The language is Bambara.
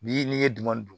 Bi n'i ye duguman dun